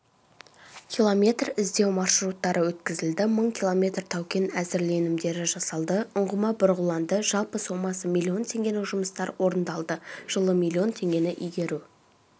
километр іздеу маршруттары өткізілді мың километр таукен әзірленімдері жасалды ұңғыма бұрғыланды жалпы сомасы миллион теңгенің жұмыстар орындалды жылы миллион теңгені игеру